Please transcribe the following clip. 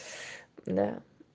да